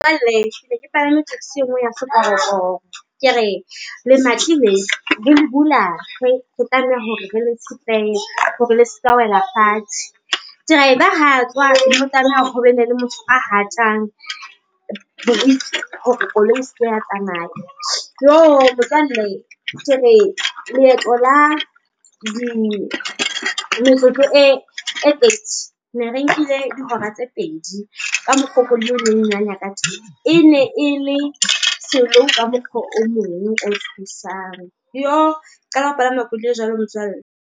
Jwale ne ke palame Taxi enngwe ya sekorokoro. Ke re lemati leo re le bula, re tlameha hore re le tshetlehe hore le seka wela fatshe. Driver ha tswa ho tlameha ho be ne le motho a hatang boriki hore koloi e se ke ya tsamaya. Motswalle ke re leeto la metsotso e thirty ne re nkile dihora tse pedi ka mokgo koloi eo e neng e nanya ka teng. E ne e le slow ka mokgwa o mong o tshosang. Yoh! Ke qala ho palama jwalo motswalle.